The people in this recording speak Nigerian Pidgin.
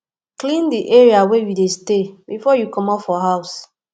clean di area wey you dey stay before you comot for house